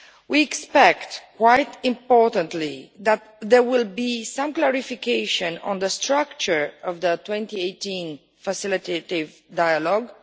We expect quite importantly that there will be some clarification on the structure of the 2018 facilitative dialogue.